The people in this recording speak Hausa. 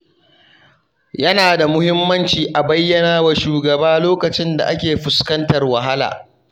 Yana da muhimmanci a bayyanawa shugaba lokacin da ake fuskantar wahala.